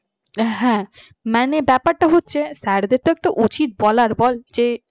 হ্যাঁ মনে ব্যাপারটা হচ্ছে sir দের একটা উচিত বলার বল যে